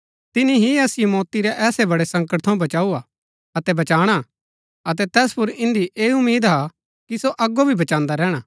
तिनी ही असिओ मौती रै ऐसै बड़ै संकट थऊँ बचाऊ हा अतै बचाणा अतै तैस पुर इन्दी ऐ उम्मीद हा कि सो अगो भी बचान्‍दा रैहणा